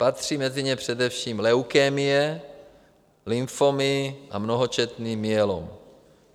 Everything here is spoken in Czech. Patří mezi ně především leukemie, lymfomy a mnohočetný myelom.